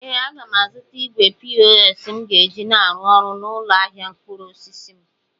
Ee, aga m azụta igwe pos m ga-eji na-arụ ọrụ n'ụlọ ahịa mkpụrụ osisi m.